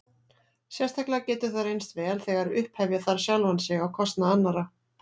Sérstaklega getur það reynst vel þegar upphefja þarf sjálfan sig á kostnað annarra.